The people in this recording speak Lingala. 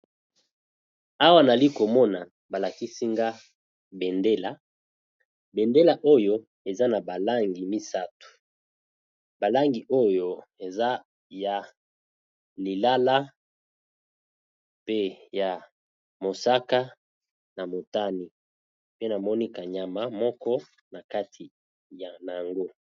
Awa yali komona balakisa Nagai bendela bendela Oyo eza na langi misatu bakangi oyó eza ya lilala ya mosaka pe ya motame nakati pee nazomona ka nyama moko